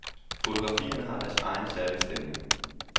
Fotgrafierne har deres egen særlige stemning.